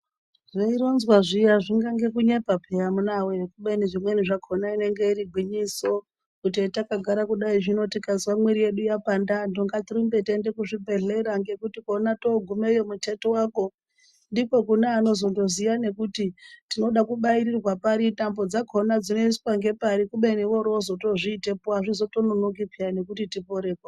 Zveironzwa zviya zvingange kunyepa peya amuna voye kubeni zvimweni zvakona inenge iri gwinyiso. Kuti hetakagara kudai zvinotikazwa mwiri yedu yapanda atu ngatirumbe tiende kuzvibhedhlera ngekuti kona togumeyo mutetu vako. Ndiko kune anozondoziya nekuti tinoda kubairirwa pari tambo dzakona dzinoiswa ngepari kubeni oro vozozviitepo hazvizotononoki nekuti tiporeko.